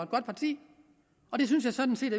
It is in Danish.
godt parti og det synes jeg sådan set